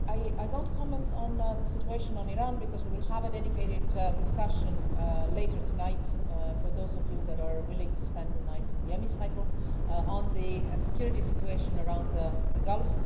I won't comment on the situation in Iran, because we will have a dedicated discussion later tonight for those of you that are willing to spend the night in the Hemicycle on the security situation around the Gulf.